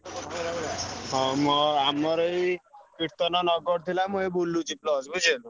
ହଁ ମୋ ଆମର ଏଇ କୀର୍ତନ ନଗର ଥିଲା ମୁଁ ଏଇ ବୁଲୁଚି plus ବୁଝି ପାଇଲୁ।